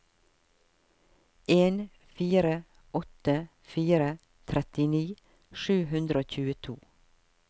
en fire åtte fire trettini sju hundre og tjueto